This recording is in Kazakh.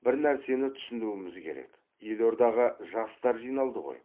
бір нәрсені түсінуіміз керек елордаға жастар жиналды ғой